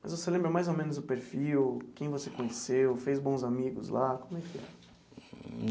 Mas você lembra mais ou menos o perfil, quem você conheceu, fez bons amigos lá, como é que é?